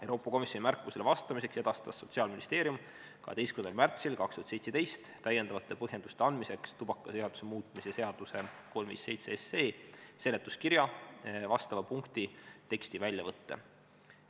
Euroopa Komisjoni märkustele vastamiseks edastas Sotsiaalministeerium 12. märtsil 2017 täiendavate põhjenduste andmiseks tubakaseaduse muutmise seaduse 357 seletuskirja vastava punkti teksti väljavõtte.